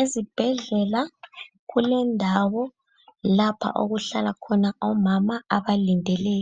Ezibhedlela kulendawo lapha okuhlala khona omama abalindele